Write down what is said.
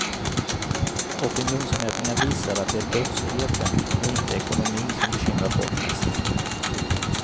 Opinionsmätningar visar att det är brottsligheten och inte ekonomin som bekymrar folk mest.